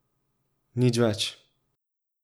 Nič več.